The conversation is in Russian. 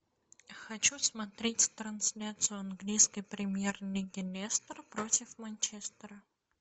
хочу смотреть трансляцию английской премьер лиги лестер против манчестера